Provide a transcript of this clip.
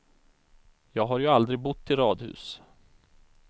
Jag har ju aldrig bott i radhus.